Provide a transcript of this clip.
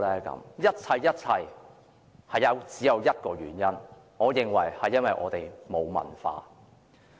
我認為這一切都源於一個原因，就是我們沒有文化。